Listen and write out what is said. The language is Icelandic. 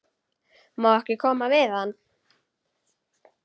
Má ekki koma við hann?